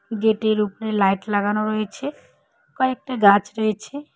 গেটের উপরে লাইট লাগানো রয়েছে কয়েকটা গাছ রয়েছে।